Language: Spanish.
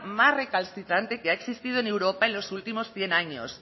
más recalcitrante que ha existido en europa en los últimos cien años